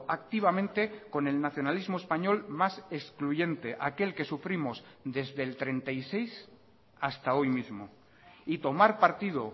activamente con el nacionalismo español más excluyente aquel que sufrimos desde el treinta y seis hasta hoy mismo y tomar partido